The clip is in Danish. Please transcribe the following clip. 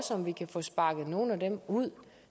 om vi kan få sparket nogle af dem ud